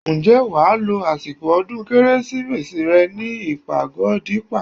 Ǹjẹ́ wà á lo àsìkò ọdún kérésì rẹ ní ìpàgọ́ Dípà?